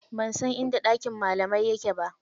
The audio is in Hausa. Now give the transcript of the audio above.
Ban san inda ɗakin malamai yake ba.